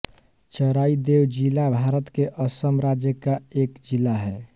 चराईदेव जिला भारत के असम राज्य का एक ज़िला है